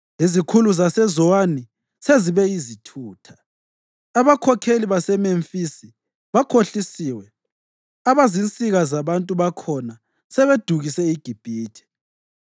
Izikhulu zaseZowani sezibe yizithutha, abakhokheli baseMemfisi bakhohlisiwe, abazinsika zabantu bakhona sebedukise iGibhithe.